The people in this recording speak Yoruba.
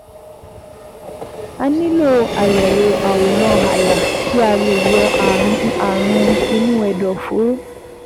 A nílò àyẹ̀wò àwòrán àyà kí a lè yọ ààrùn inú ẹ̀dọ̀fóró